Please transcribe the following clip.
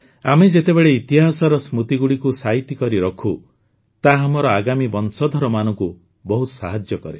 ଆମେ ଯେତେବେଳେ ଇତିହାସର ସ୍ମୃତିଗୁଡ଼ିକୁ ସାଇତି କରିରଖୁ ତାହା ଆମର ଆଗାମୀ ବଂଶଧରମାନଙ୍କୁ ବହୁତ ସାହାଯ୍ୟ କରେ